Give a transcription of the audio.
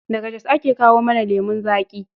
Daga Jos ake kawo mana lemon zaƙi.